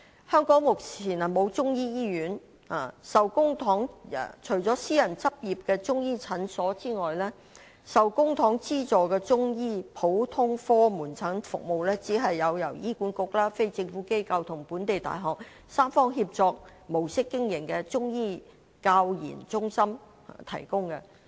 香港目前沒有中醫醫院，除了私人執業的中醫診所外，受公帑資助的中醫普通科門診服務，只是由醫院管理局、非政府機構和本地大學以三方協作模式經營的中醫教研中心提供。